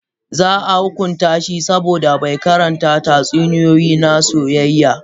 Za a hukunta shi saboda bai karanta tatsuniyoyi na soyayya.